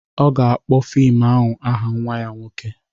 Ọ ga-akpọ fim ahụ aha nwa ya nwoke